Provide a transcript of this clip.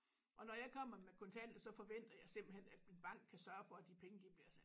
Og når jeg kommer med kontanter så forventer jeg simpelthen at min bank kan sørge for at de penge de bliver sat